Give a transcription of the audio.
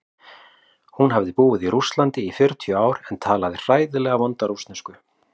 Hún hafði búið í Rússlandi í fjörutíu ár en talaði hræðilega vonda rússnesku.